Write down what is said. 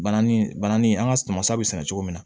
Bananin bananin an ŋa suma sa be sɛnɛ cogo min na